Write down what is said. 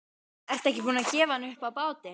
Ertu ekki búin að gefa hann upp á bátinn?